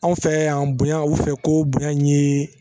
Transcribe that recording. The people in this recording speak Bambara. Anw fɛ yan bonya u fɛ ko bonya in ye